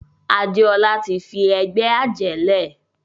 Adéọlá tí fí ègbé ajé lẹ.